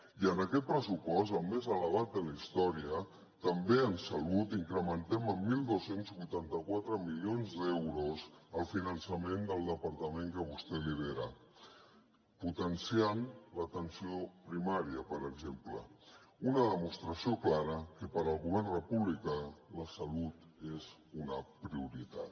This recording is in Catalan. i en aquest pressupost el més elevat de la història també en salut incrementem en dotze vuitanta quatre milions d’euros el finançament del departament que vostè lidera potenciant l’atenció primària per exemple una demostració clara que pel govern república la salut és una prioritat